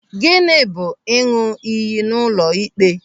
Gịnị bụ ịṅụ iyi n'ụlọ ịkpe?